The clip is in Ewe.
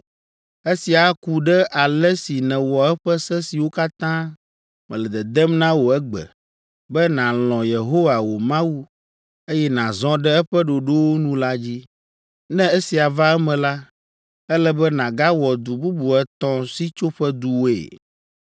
Esia aku ɖe ale si nèwɔ eƒe se siwo katã mele dedem na wò egbe, be nàlɔ̃ Yehowa wò Mawu, eye nàzɔ ɖe eƒe ɖoɖowo nu la dzi. Ne esia va eme la, ele be nàgawɔ du bubu etɔ̃ Sitsoƒeduwoe.